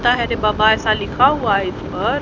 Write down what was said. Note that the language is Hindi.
रे बाबा सा लिखा हुआ है इस पर।